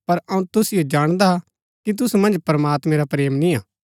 पर अऊँ तुसिओ जाणदा कि तुसु मन्ज प्रमात्मैं रा प्रेम निय्आ